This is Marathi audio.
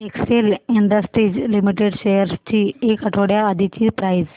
एक्सेल इंडस्ट्रीज लिमिटेड शेअर्स ची एक आठवड्या आधीची प्राइस